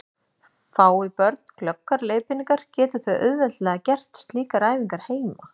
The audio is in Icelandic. Fái börn glöggar leiðbeiningar geta þau auðveldlega gert slíkar æfingar heima.